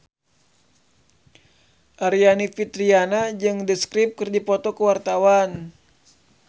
Aryani Fitriana jeung The Script keur dipoto ku wartawan